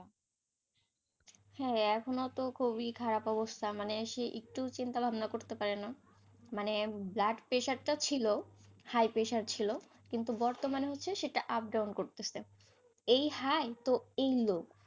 হ্যাঁ এখনও তো খুবই খারাপ অবস্থা মানে একটু চিন্তা ভাবনা করতে পারেনা, মানে blood pressure টা ছিল, high pressure ছিল, কিন্তু বর্তমানে হচ্ছে সেটা up-down করতেছে, এই high তো এও low